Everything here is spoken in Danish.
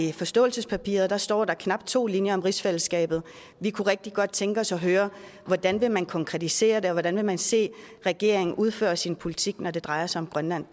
i forståelsespapiret står knap to linjer om rigsfællesskabet vi kunne rigtig godt tænke os at høre hvordan vil man konkretisere det og hvordan vil man se regeringen udføre sin politik når det drejer sig om grønland